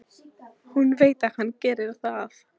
Hún veit að hann gerir það.